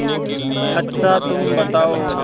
अच्छा तुम बताओ